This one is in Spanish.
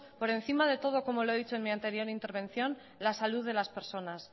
por encima de todo como lo he dicho en mi anterior intervención la salud de las personas